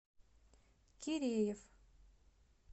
киреев